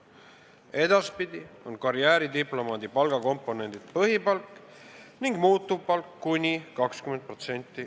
Edaspidi on karjääridiplomaadi palgakomponendid põhipalk ning muutuvpalk .